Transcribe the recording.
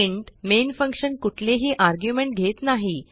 int main function कुठेलही argument घेत नाही